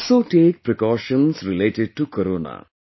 Also take precautions related to corona